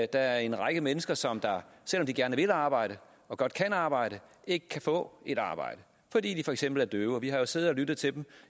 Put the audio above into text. der er en række mennesker som selv om de gerne vil arbejde og godt kan arbejde ikke kan få et arbejde fordi de for eksempel er døve vi har jo siddet og lyttet til dem